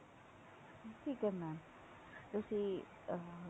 ਠੀਕ ਹੈ mam ਤੁਸੀਂ ਅਹ